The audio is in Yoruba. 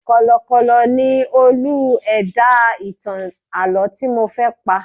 Kọ̀lọ̀kọ̀kọ̀ ni Olú ẹ̀dá ìtàn àlọ́ tí mo fẹ́ pa.